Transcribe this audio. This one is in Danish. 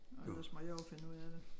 Og ellers må jeg jo finde ud af det